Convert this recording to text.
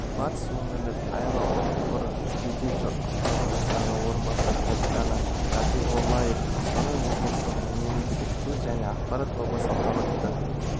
батыс өңірлік аэроұтқыр жедел-құтқару жасағы орынбасары капитаны рапиғоллаев қостанай облысының мемлекеттік тіл және ақпарат тобы салтанатты